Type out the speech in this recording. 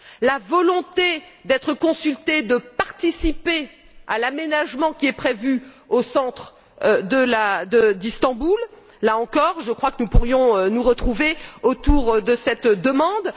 la volonté d'être consulté, de participer à l'aménagement prévu au centre d'Istanbul là encore, je crois que nous pourrions nous retrouver autour de cette demande